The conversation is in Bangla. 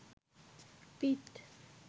পিঠ